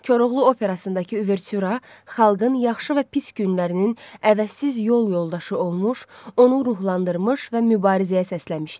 Koroğlu Operasındakı Uvertüra xalqın yaxşı və pis günlərinin əvəzsiz yol yoldaşı olmuş, onu ruhlandırmış və mübarizəyə səsləmişdi.